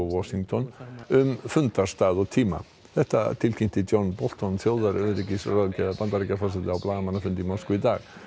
Washington um fundarstað og tíma þetta tilkynnti John Bolton Bandaríkjaforseta á blaðamannafundi í Moskvu í dag